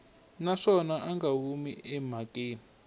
naswona a nga humi emhakeni